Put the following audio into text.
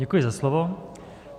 Děkuji za slovo.